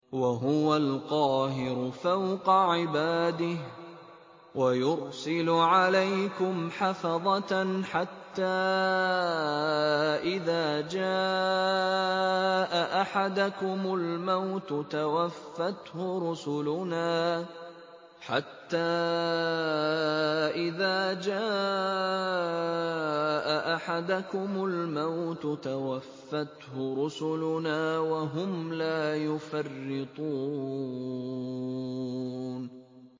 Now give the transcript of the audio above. وَهُوَ الْقَاهِرُ فَوْقَ عِبَادِهِ ۖ وَيُرْسِلُ عَلَيْكُمْ حَفَظَةً حَتَّىٰ إِذَا جَاءَ أَحَدَكُمُ الْمَوْتُ تَوَفَّتْهُ رُسُلُنَا وَهُمْ لَا يُفَرِّطُونَ